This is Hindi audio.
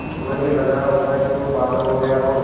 तुम्हें भी लग रहा होगा कि मैं पागल हो गया हूँ